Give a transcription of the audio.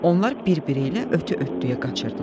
Onlar birbiri ilə ötə-ötəyə qaçırdılar.